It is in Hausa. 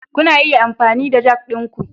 Kuna iya amfani da jack ɗinku.